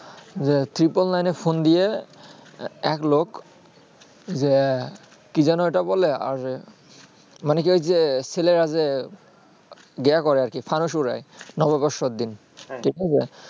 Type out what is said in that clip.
যে triple nine এ phone দিয়ে এক লোক যে কি জানো এইটা বলে আর মানে কি হয়েছে ছেলেরা যে গিয়া করে আরকি ফানুস উড়ায় নববর্ষর দিন ঠিক আছে